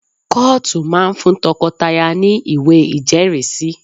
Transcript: Kọ́ọ̀tù máa ń fún tọkọtaya ní ìwé ìjẹ́rìísí